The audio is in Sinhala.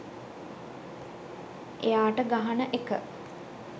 එයාට ගහන එක